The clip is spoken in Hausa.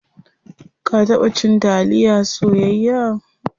Ka taba cin taliya soyayya?